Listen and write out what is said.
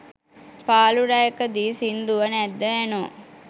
පාලු රැයකදී සින්දුව නැද්ද ඇනෝ.